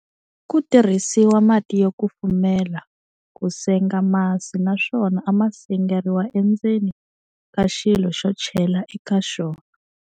Ku tirhisiwa mati yo kufumela ku senga masi naswona a ma sengeriwa endzeni ka xilo xo chela eka xona.